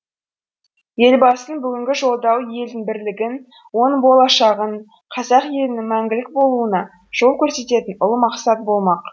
елбасының бүгінгі жолдауы елдің бірлігін оның болашағын қазақ елінің мәңгілік болуына жол көрсететін ұлы мақсат болмақ